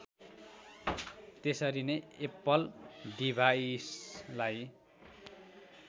त्यसरीनै Apple डिभाइसलाई